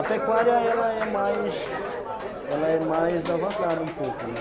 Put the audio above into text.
A pecuária, ela é mais... ela é mais avançada um pouco, né?